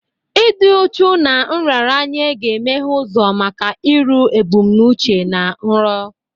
Ịdị uchu na nraranye ga-emeghe ụzọ maka iru ebumnuche na nrọ.